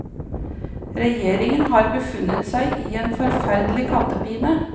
Regjeringen har befunnet seg i en forferdelig kattepine.